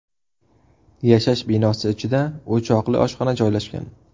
Yashash binosi ichida o‘choqli oshxona joylashgan.